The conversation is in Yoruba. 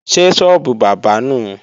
Ṣé sọ́ọ́bù bábà nùu?